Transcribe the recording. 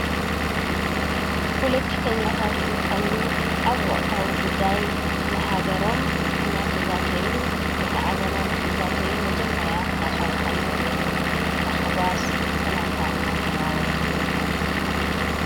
ፖለቲከኛታት እንትኮኑ ኣብ ወቅታዊ ጉዳይ ስለ ሃገሮም እናተዛተዩ ወይ ከዓ ገና ንከዛተዩ መጀመርያ ክራከቡ ከለዉ ብታሓጓስ ሰላምታ እናተለዋወጡ ይርከቡ::